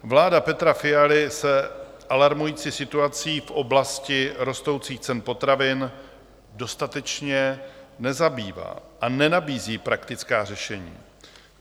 Vláda Petra Fialy se alarmující situací v oblastí rostoucích cen potravin dostatečně nezabývá a nenabízí praktická řešení.